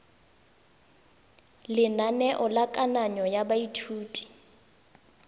lenaneo la kananyo ya baithuti